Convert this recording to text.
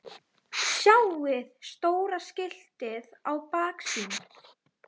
Hvað um Thomas?